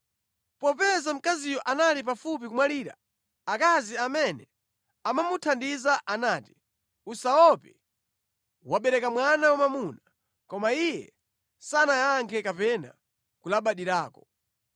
Popeza mkaziyo anali pafupi kumwalira, akazi amene amamuthandiza anati, “Usaope, wabereka mwana wamwamuna” Koma iye sanayankhe kapena kulabadirako.